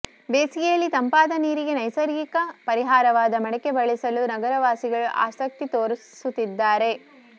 ಬೇಸಿಗೆಯಲ್ಲಿ ತಂಪಾದ ನೀರಿಗೆ ನೈಸರ್ಗಿಕ ಪರಿಹಾರವಾದ ಮಡಕೆ ಬಳಸಲು ನಗರವಾಸಿಗಳು ಆಸಕ್ತಿ ತೋರಿಸುತ್ತಿದ್ದಾರೆ